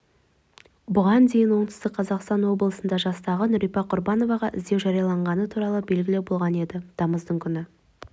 бұған дейін оңтүстік қазақстан облысында жастағы нүрипа құрбановаға іздеу жарияланғаны туралы белгілі болған еді тамыздың күні